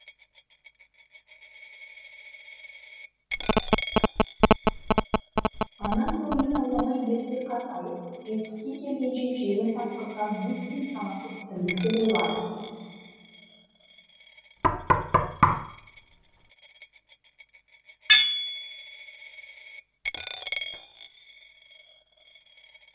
ана көңілін ауламай ерте қартайтып жетпіске келгенше желін тартқызған неткен санасыз тірлік деп ойлады